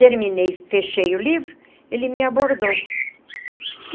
Terminei, fechei o livro, ele me abordou.